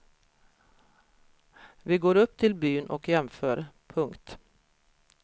Vi går upp till byn och jämför. punkt